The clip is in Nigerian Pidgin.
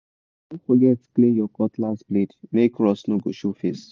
no forget clean your cutlass blade make rust no go show face.